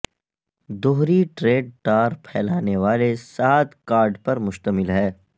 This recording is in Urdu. دوہری ٹریڈ ٹار پھیلانے والے سات کارڈ پر مشتمل ہے